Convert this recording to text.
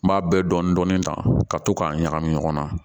N b'a bɛɛ dɔɔnin dɔɔnin ta ka to k'a ɲagami ɲɔgɔn na